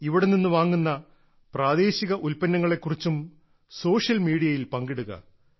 നിങ്ങൾ ഇവിടെ നിന്ന് വാങ്ങുന്ന പ്രാദേശിക ഉൽപ്പന്നങ്ങളെ കുറിച്ചും സോഷ്യൽ മീഡിയയിൽ പങ്കിടുക